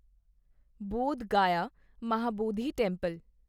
Bodh Gaya Mahabodhi temple